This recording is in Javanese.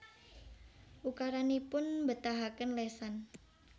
Ukaranipun mbetahaken lesan